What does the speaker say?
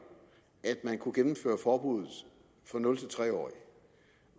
at man kunne gennemføre forbuddet for nul tre årige